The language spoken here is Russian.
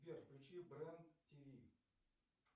сбер включи бренд тв